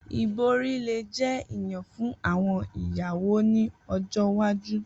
Ibori le jẹ iyan fun awọn iyawo ni ojo iwaju.